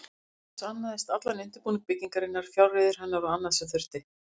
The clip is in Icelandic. Nefnd þessi annaðist allan undirbúning byggingarinnar, fjárreiður hennar og annað, sem þurfti.